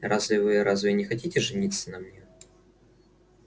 разве вы разве вы не хотите жениться на мне